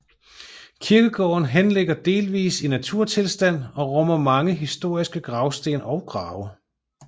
Kirkegården henligger delvis i naturtilstand og rummer mange historiske gravsten og grave